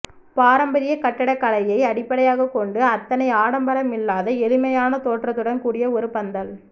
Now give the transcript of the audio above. பாரம்பர்ய கட்டிடகலையை அடிப்படையாக கொண்டு அத்தனை ஆடம்பரமில்லாத எளிமையான தோற்றத்துடன் கூடிய ஒரு பந்தல்